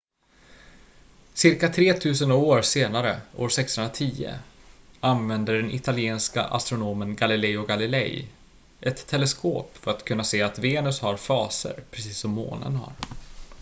cirka tretusen år senare år 1610 använde den italienske astronomen galileo galilei ett teleskop för att kunna se att venus har faser precis som månen har